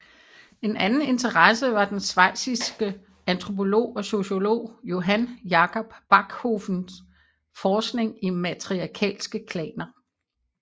En anden interesse var den schweiziske antropolog og sociolog Johann Jakob Bachofens forskning i matriarkalske klaner